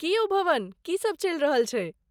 की यौ भवन, की सभ चलि रहल छै?